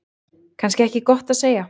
Kannski ekki gott að segja.